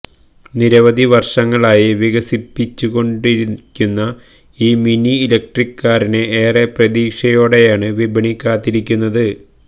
നിരവധി വർഷങ്ങളായി വികസിപ്പിച്ചുകൊണ്ടിരിക്കുന്ന ഈ മിനി ഇലക്ട്രിക് കാറിനെ ഏറെ പ്രതീക്ഷയോടെയാണ് വിപണി കാത്തിരിക്കുന്നത്